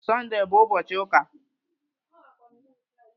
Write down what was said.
Sọndee bụ ụbọchị ụka